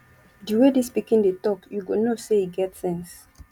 di way dis pikin dey talk you go know sey e get sense